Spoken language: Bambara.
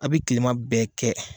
A bi kilelima bɛɛ kɛ.